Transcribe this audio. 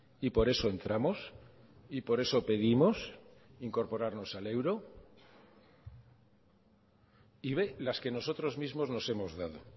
y por eso entramos y por eso pedimos incorporarnos al euro y b las que nosotros mismos nos hemos dado